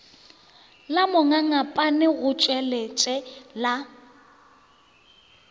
la mongangapane go tswaletšwe la